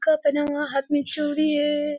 पहना हुआ हाथ मे चूड़ी है।